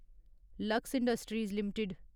lux industries limited